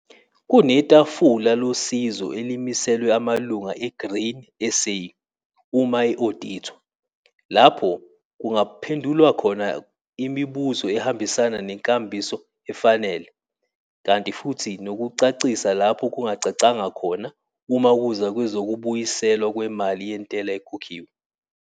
Kunetafula losizo elimiselwe amalunga eGrain SA uma e-odithwa, lapho kungaphendulwa khona imibuzo ehambisana nenkambiso efanele, kanti futhi nokucacisa lapho kungacacanga khona uma kuza kwezokubuyiselwa kwemali yentela ekhokhiwe.